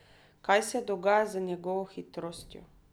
Kaj se dogaja z njegovo hitrostjo?